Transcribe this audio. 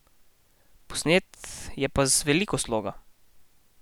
Posnet je pa z veliko sloga.